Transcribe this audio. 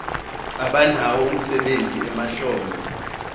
abanawo umsebenzi emahlombe